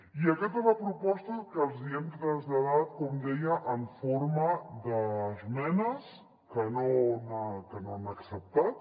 i aquesta és la proposta que els hi hem traslladat com deia en forma d’esmenes que no han acceptat